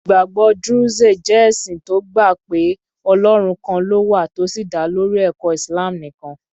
Ìgbàgbọ́ Druze jẹ́ ẹ̀sìn tó gbà pé Ọlọ́run kan ló wà tó sì dá lórí ẹ̀kọ́ Islam nìkan.